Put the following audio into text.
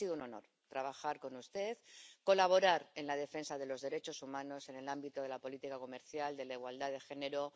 Ha sido un honor trabajar con usted, colaborar en la defensa de los derechos humanos, en el ámbito de la política comercial y de la igualdad de género.